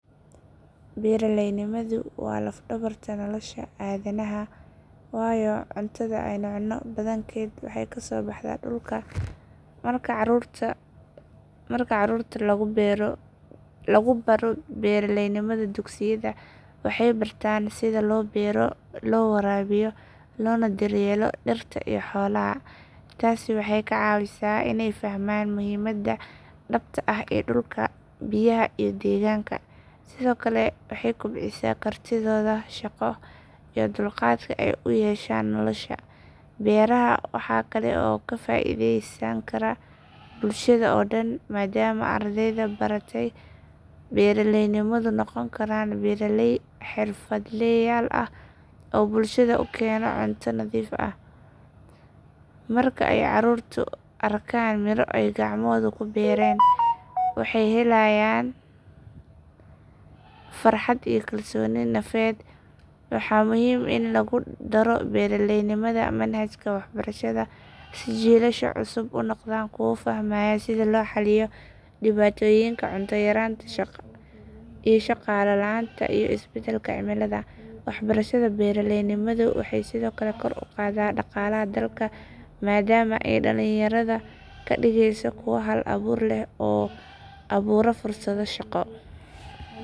Beeraleynimadu waa laf dhabarta nolosha aadanaha waayo cuntada aynu cunno badankeed waxay kasoo baxdaa dhulka. Marka carruurta lagu baro beeraleynimada dugsiyada, waxay bartaan sida loo beero, loo waraabiyo, loona daryeelo dhirta iyo xoolaha. Taasi waxay ka caawisaa inay fahmaan muhiimada dhabta ah ee dhulka, biyaha, iyo deegaanka. Sidoo kale waxay kobcisaa kartidooda shaqo iyo dulqaadka ay u yeeshaan nolosha. Beeraha waxaa kale oo ka faa’iidaysan kara bulshada oo dhan maadaama ardayda baratay beeraleynimadu noqon karaan beeraley xirfadleyaal ah oo bulshada u keena cunto nadiif ah. Marka ay caruurtu arkaan miro ay gacmahoodu ku beereen, waxay helayaan farxad iyo kalsooni nafeed. Waa muhiim in lagu daro beeraleynimada manhajka waxbarashada si jiilasha cusub u noqdaan kuwo fahmaya sida loo xalliyo dhibaatooyinka cunto yaraanta, shaqo la’aanta, iyo isbedelka cimilada. Waxbarashada beeraleynimadu waxay sidoo kale kor u qaadaa dhaqaalaha dalka, maadaama ay dhalinyarada ka dhigeyso kuwo hal-abuur leh oo abuura fursado shaqo.